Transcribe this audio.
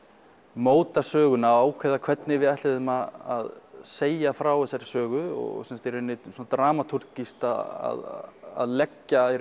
móta söguna og ákveða hvernig við ætluðum að segja frá þessar sögu og í rauninni dramatúrgískt að leggja